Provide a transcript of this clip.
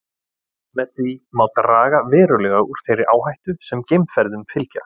Með því má draga verulega úr þeirri áhættu sem geimferðum fylgja.